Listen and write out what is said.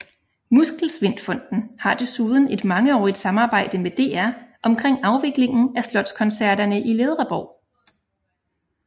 Muskelsvindfonden har desuden et mangeårigt samarbejde med DR omkring afviklingen af Slotskoncerterne i Ledreborg